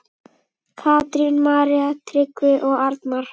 Katrín, María, Tryggvi og Arnar.